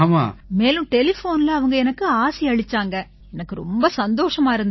மேலும் டெலிஃபோன்ல அவங்க எனக்கு ஆசியளிச்சாங்க எனக்கு ரொம்ப சந்தோஷமா இருந்திச்சு